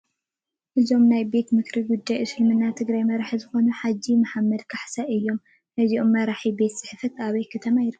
እዞም ናይ ቤት ምኽሪ ጉዳያት እስልምና ትግራይ መራሒ ዝኾኑ ሓጂ መሓመድ ካሕሳይ እዮም፡፡ ናይዞም መራሒ ቤት ፅሕፈት ኣበይ ከተማ ይርከብ?